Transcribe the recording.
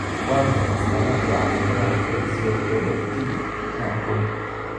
Waa maxay astamaha iyo calaamadaha Preaxial polydactyly nooca kowwaad?